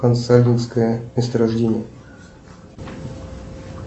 консагинское месторождение